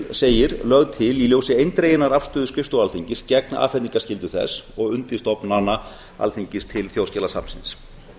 segir lögð til í ljósi eindreginnar afstöðu skrifstofu alþingis gegn afhendingarskyldu þess og undirstofnana alþingis til þjóðskjalasafnsins